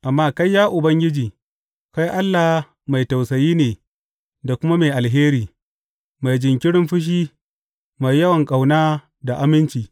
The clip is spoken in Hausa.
Amma kai, ya Ubangiji, kai Allah mai tausayi ne da kuma mai alheri, mai jinkirin fushi, mai yawan ƙauna da aminci.